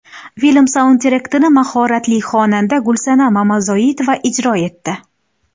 Film saundtrekini mahoratli xonanda Gulsanam Mamazoitova ijro etdi.